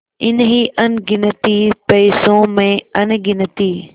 इन्हीं अनगिनती पैसों में अनगिनती